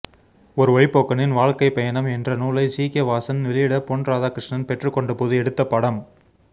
ஒரு வழிப்போக்கனின் வாழ்க்கைப்பயணம் என்றநூலை ஜிகே வாசன் வெளியிட பொன் ராதாகிருஷ்ணன் பெற்றுக்கொண்டபோது எடுத்தபடம்